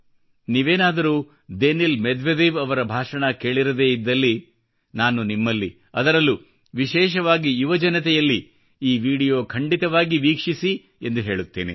ನೀವೇನಾದರೂ Daniil Medvedev ಅವರ ಭಾಷಣ ಕೇಳಿರದೇ ಇದ್ದಲ್ಲಿ ನಾನು ನಿಮ್ಮಲ್ಲಿ ಅದರಲ್ಲೂ ವಿಶೇಷವಾಗಿ ಯುವ ಜನತೆಯಲ್ಲಿ ಈ ವಿಡಿಯೋ ಖಂಡಿತವಾಗಿಯೂ ವೀಕ್ಷಿಸಿ ಎಂದು ಹೇಳುತ್ತೇನೆ